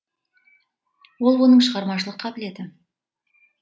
ол оның шығармашылық қабілеті